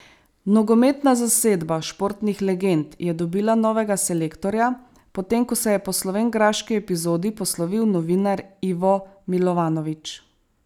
Nogometna zasedba športnih legend je dobila novega selektorja, potem ko se je po slovenjgraški epizodi poslovil novinar Ivo Milovanovič.